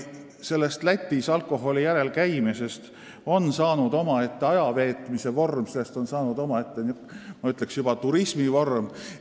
Lätis alkoholi järel käimisest on saanud omaette ajaveetmise vorm, sellest on saanud, ma ütleksin, juba turismi vorm.